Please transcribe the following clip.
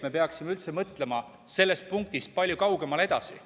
Me peaksime üldse mõtlema sellest punktist palju kaugemale edasi.